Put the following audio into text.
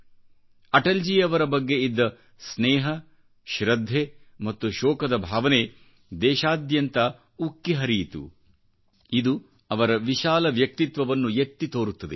ಅಟಲ್ ಜಿ ರವರ ಬಗ್ಗೆ ಇದ್ದ ಸ್ನೇಹ ಶ್ರದ್ಧೆ ಮತ್ತು ಶೋಕದ ಭಾವನೆ ದೇಶದಾದ್ಯಂತ ಉಕ್ಕಿಹರಿಯಿತು ಇದು ಅವರ ವಿಶಾಲ ವ್ಯಕ್ತಿತ್ವವನ್ನು ಎತ್ತಿ ತೋರುತ್ತದೆ